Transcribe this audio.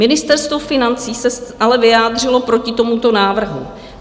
Ministerstvo financí se ale vyjádřilo proti tomuto návrhu.